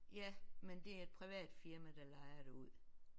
Ja men det er et privat firma der lejer det ud